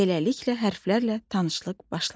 Beləliklə hərflərlə tanışlıq başladı.